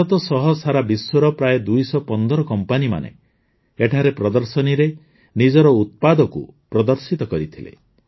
ଭାରତ ସହ ସାରା ବିଶ୍ୱର ପ୍ରାୟ ୨୧୫ କମ୍ପାନୀମାନେ ଏଠାରେ ପ୍ରଦର୍ଶନୀରେ ନିଜର ଉତ୍ପାଦକୁ ପ୍ରଦର୍ଶିତ କରିଥିଲେ